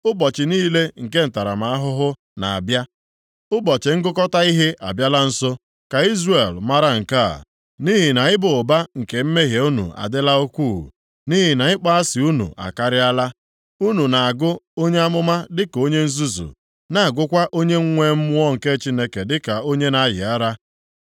Ụbọchị niile nke ntaramahụhụ + 9:7 Maọbụ, nleta na-abịa, Ụbọchị ngụkọta ihe abịala nso. Ka Izrel mara nke a. Nʼihi na ịba ụba nke mmehie unu adịla ukwuu, nʼihi na ịkpọ asị unu akarịala, unu na-agụ onye amụma dịka onye nzuzu, na-agụkwa onye nwee Mmụọ nke Chineke dịka onye na-ayị ara.